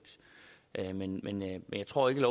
men jeg tror ikke